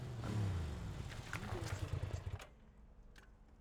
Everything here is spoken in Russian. юлия терентьева